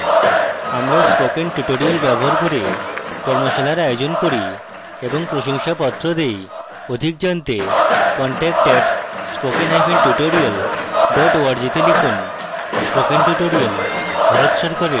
আমরা spoken tutorials ব্যবহার করে কর্মশালার আয়োজন করি এবং প্রশংসাপত্র দেই অধিক জানতে contact @spokentutorial org তে লিখুন